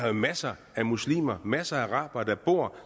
jo masser af muslimer masser af arabere der bor